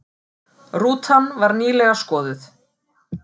Rútan var nýlega skoðuð